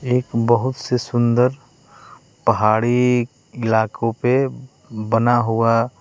एक बहुत से सुंदर पहाड़ी इलाकों पे बना हुआ--